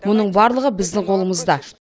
мұның барлығы біздің қолымызда